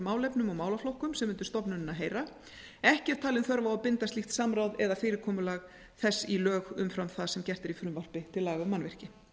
málefnum og málaflokkum sem undir stofnunina heyra ekki er talin þörf á að binda slíkt samráð eða fyrirkomulag þess í lög umfram það sem gert er í frumvarpi til laga um mannvirki